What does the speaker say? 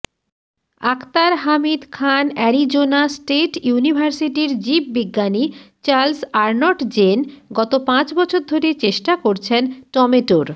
আখতার হামিদ খানঅ্যারিজোনা স্টেট ইউনিভার্সিটির জীববিজ্ঞানী চার্লস আর্নটজেন গত পাঁচবছর ধরে চেষ্টা করছেন টমেটোর